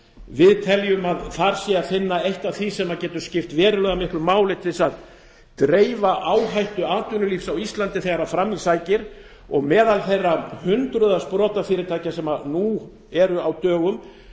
við teljum að þar sé að finna eitt af því sem getur skipt verulega miklu máli til þess að dreifa áhættu atvinnulífs á íslandi þegar fram í sækir og meðal þeirra hundruða sprotafyrirtækja sem nú eru á dögum